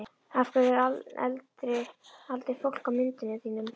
Af hverju er aldrei fólk á myndunum þínum?